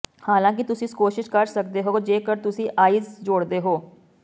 ਹਾਲਾਂਕਿ ਤੁਸੀਂ ਕੋਸ਼ਿਸ਼ ਕਰ ਸਕਦੇ ਹੋ ਜੇਕਰ ਤੁਸੀਂ ਆਈਸ ਜੋੜਦੇ ਹੋ